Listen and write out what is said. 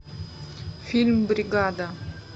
фильм бригада